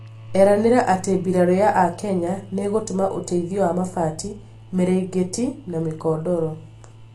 eranĩra atĩ mbirarũ ya akenya nĩigũtũma ũteithio wa mabati, mĩrĩngĩti na mĩkondoro